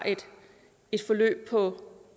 et forløb på